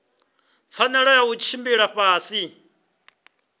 pfanelo ya u tshila fhasi